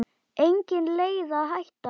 Engin leið að hætta.